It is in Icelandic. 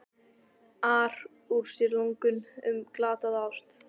ar úr sér lungun um glataða ást.